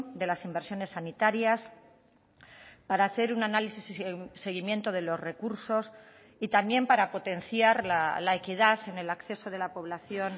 de las inversiones sanitarias para hacer un análisis y seguimiento de los recursos y también para potenciar la equidad en el acceso de la población